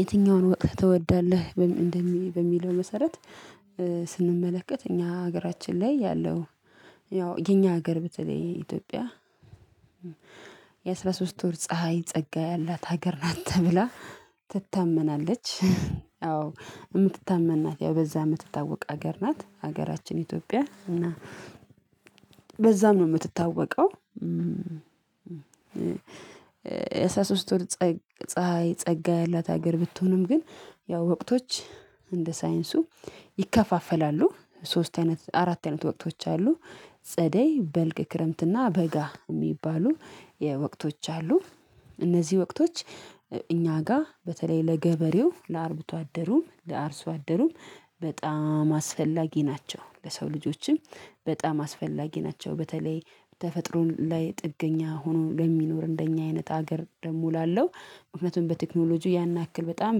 የትኛውን ወቅት ትወዳለህ በሚለው መሰረት ስንመለከት እኛ ሀገራችን ላይ ያለው ያው የኛ ሀገር በተለይ የኢትዮጵያ የአሥራ ሶስት ወር ፀሀይ ፀጋ ያላት ሀገር ናት ተብላ ትታመናለች። አዎ የምትታመን ና፣ ያው በዛ የምትታወቅ ሀገር ናት ሀገራችን ኢትዮጵያ እና በዛም ነው የምትታወቀው። የአሥራ ሶስት ወር ፀሀይ ፀጋ ያላት ሀገር ብትሆንም ግን ያው ወቅቶች እንደ ሳይንሱ ይከፋፈላሉ። ሶስት አይነት አራት አይነት ወቅቶች አሉ። ጸደይ፣ በልግ፣ ክረምት እና በጋ የሚባሉ የወቅቶች አሉ እነዚህ ወቅቶች እኛ ጋር በተለይ ለገበሬው፣ ለአርብቶ አደሩም፣ ለአርሶ አደሩም፣ በጣም አስፈላጊ ናቸው። ለሰው ልጆችም በጣም አስፈላጊ ናቸው በተለይ ተፈጥሮ ላይ ጥገኛ ሆኖ ለሚኖር እንደኛ አይነት ሀገር ደግሞ ላለው እውነትም በቴክኖሎጂ ያን ያክል በጣም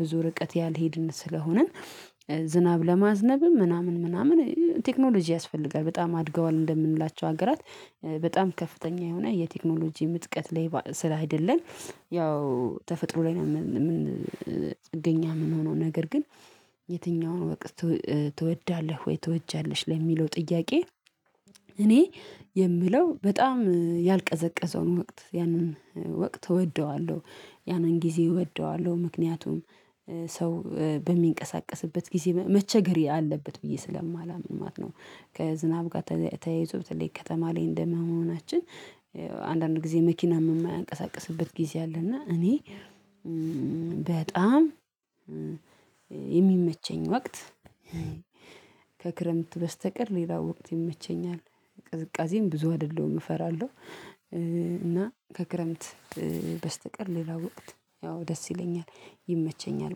ብዙ ርቀት ያልሄድን ስለሆንን ዝናብ ለማዝነብም ምናምን ምናምን ቴክኖሎጂ ያስፈልጋል። በጣም አድገዋል እንደምንላቸው ሀገራት በጣም ከፍተኛ የሆነ የቴክኖሎጂ ምጥቀት ላይ ስላይደለን ያው ተፈጥሮ ላይ ነው ጥገኛ የምንሆነው። ነገር ግን የትኛውን ወቅት ትወዳለህ ወይ ትወጃለሽ? ለሚለው ጥያቄ እኔ የምለው በጣም ያልቀዘቀዘውን ወቅት ያንን ወቅት እወደዋለሁ። ያንን ጊዜ እወደዋለሁ ምክንያቱም ሰው በሚንቀሳቀስበት ጊዜ መቸገር አለበት ብዬ ስለማላምን ማለት ነው። ከዝናብ ጋር ተያይዞ በተለይ ከተማ ላይ እንደመሆናችን አንዳንድ ጊዜ መኪና የማያንቀሳቅስበት ጊዜ አለ እና እኔ በጣም የሚመቸኝ ወቅት ከክረምት በስተቀር ሌላ ወቅት ይመቸኛል። ቅዝቃዜም ብዙ አይደለሁም እፈራለሁ። እና ከክረምት በስተቀር ሌላ ወቅት ያው ደስ ይለኛል። ይመቸኛል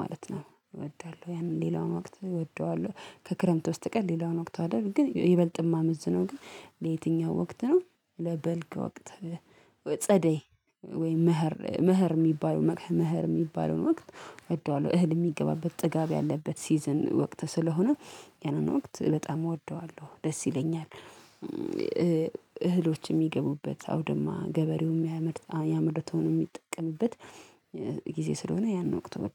ማለት ነው እወዳለሁ ያንን ሌላውን ወቅት እወደዋለሁ ከክረምት በስተቀር ሌላውን ወቅት አይደል ግን ይበልጥ ማመዝነው ግን ለየትኛው ወቅት ነው ለበልግ ወቅት። ጸደይ ወይም ምኸር የሚባለው ምኸር የሚባለውን ወቅት እወደዋለሁ። እህል የሚገባበት ጥጋብ ያለበት ሲዝን ወቅት ስለሆነ ያንን ወቅት በጣም እወደዋለሁ፣ ደስ ይለኛል እህሎች የሚገቡበት አውደማ ገበሬውን የሚያመርተውን የሚጠቀምበት፣ ጊዜ ስለሆነ ያንን ወቅት እወደዋለሁ።